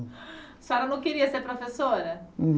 A senhora não queria ser professora?